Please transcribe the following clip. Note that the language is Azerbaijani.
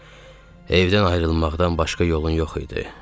Amma evdən ayrılmaqdan başqa yolun yox idi.